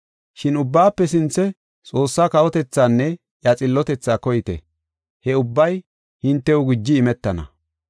Shin ubbaafe sinthe Xoossaa kawotethaanne iya xillotethaa koyite; he ubbay hintew guji imetana.